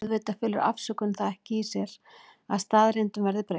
Auðvitað felur afsökun það ekki í sér að staðreyndum verði breytt.